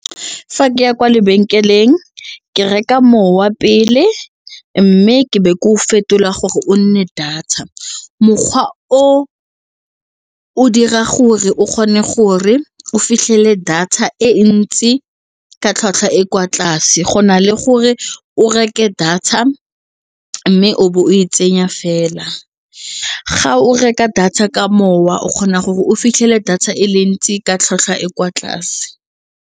Fa ke ya kwa lebenkeleng, ke reka mowa pele mme ke be ke o fetola gore o nne data mokgwa o o dira gore o kgone gore o fitlhele data e ntsi ka tlhwatlhwa e kwa tlase go na le gore o reke data mme o be o e tsenya fela ga o reka data ka mowa o kgona gore o fitlhele data e le ntsi ka tlhwatlhwa e kwa tlase.